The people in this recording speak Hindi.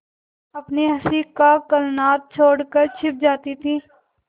अपनी हँसी का कलनाद छोड़कर छिप जाती थीं